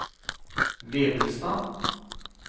Vevelstad